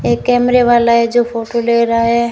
एक कैमरे वाला है जो फोटो ले रहा है।